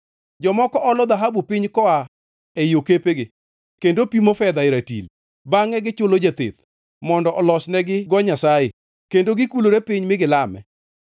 Jomoko olo dhahabu piny koa ei okepegi kendo pimo fedha e ratil; bangʼe gichulo jatheth, mondo olesnegigo nyasaye, kendo gikulore piny mi gilame.